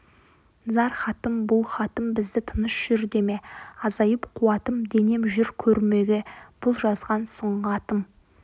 зар хатым бұл хатым бізді тыныш жүр деме азайып қуатым денем жүр көрмеге бұл жазған сұңғатым